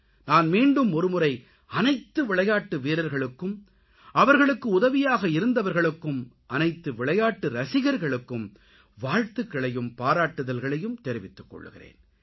நான் மீண்டும் ஒருமுறை அனைத்து விளையாட்டு வீரர்களுக்கும் அவர்களுக்கு உதவியாக இருந்தவர்களுக்கும் அனைத்து விளையாட்டு ரசிகர்களுக்கும் வாழ்த்துகளையும் பாராட்டுக்களையும் தெரிவித்துக் கொள்கிறேன்